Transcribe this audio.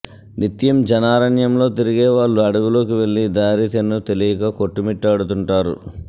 నిత్యం జనారణ్యంలో తిరిగే వాళ్ళు అడవిలోకి వెళ్లి దారి తెన్నూ తెలియక కొట్టుమిట్టాడుతుంటారు